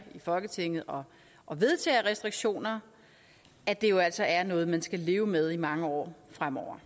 i folketinget og og vedtager restriktioner at det jo altså er noget man skal leve med i mange år fremover